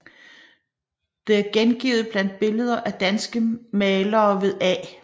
Det er gengivet blandt Billeder af danske Malere ved A